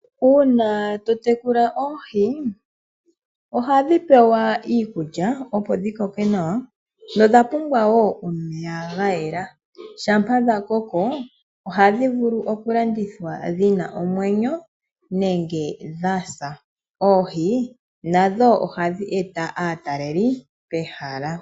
Uuna to tekula oohi ohadhi pewa iikulya, opo dhi koke nawa nodha pumbwa wo omeya ga yela. Shampa dha koko ohadhi vulu okulandithwa dhi na omwenyo nenge dha sa. Oohi nadho ohadhi eta aataleli pehala.